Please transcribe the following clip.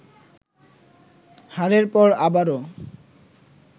হারের পর আবারো